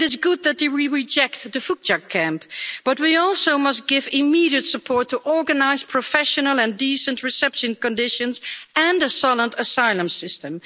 It is good that we reject the Vucjak camp, but we must also give immediate support to organise professional and decent reception conditions and a solid asylum system.